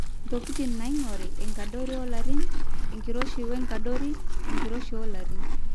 intokitin naaing'ori; enkadori olarin, enkiroshi wenkadori, enkiroshi olarin